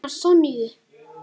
Hana Sonju?